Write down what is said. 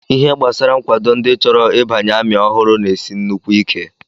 Ihe gbasara nkwado ndị chọrọ ịbanye amị ọhụrụ na-esi nnukwu ike